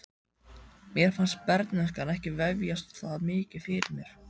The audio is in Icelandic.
Mér fannst bernskan ekki vefjast það mikið fyrir mér.